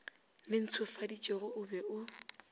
le ntshofaditšwego o be o